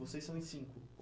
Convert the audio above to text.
Vocês são em cinco?